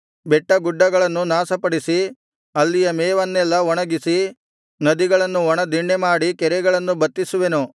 ಬೆಟ್ಟಗುಡ್ಡಗಳನ್ನು ನಾಶಪಡಿಸಿ ಅಲ್ಲಿಯ ಮೇವನ್ನೆಲ್ಲಾ ಒಣಗಿಸಿ ನದಿಗಳನ್ನು ಒಣ ದಿಣ್ಣೆಮಾಡಿ ಕೆರೆಗಳನ್ನು ಬತ್ತಿಸುವೆನು